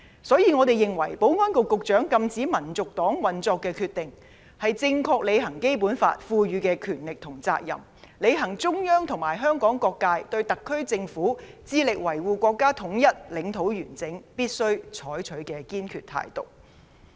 因此，我們認為保安局局長禁止香港民族黨運作的決定，是正確履行《基本法》所賦予的權力和責任，履行中央和香港各界對特區政府致力維護國家統一、領土完整所必須採取的堅決態度。